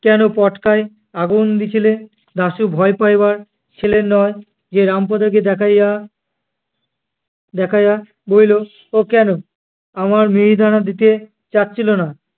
কেনো পটকা আগুন দিছিলে? দাশু ভয় পাইবার ছেলে নয়। সে রামপদকে দেখাইয়া দেখাইয়া বলিল, ও কেনো আমায় মিহিদানা দিতে চাচ্ছিল না।